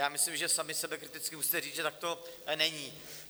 Já myslím, že sami sebekriticky musíte říct, že tak to není.